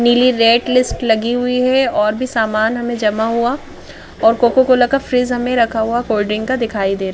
नीली rate list लगी हुई है और भी सामान हमें जमा हुआ और कोको कोला का फ्रिज हमें रखा हुआ कोल्ड ड्रिंक का दिखाई दे --